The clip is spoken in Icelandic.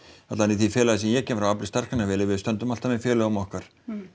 alla vega í því félagi sem ég kem frá Afli starfsgreinafélagi við stöndum alltaf með félögum okkar